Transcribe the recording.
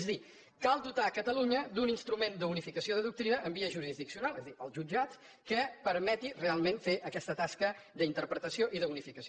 és a dir cal dotar catalunya d’un instrument d’unificació de doctrina en via jurisdiccional és a dir els jutjats que permeti realment fer aquesta tasca d’interpretació i d’unificació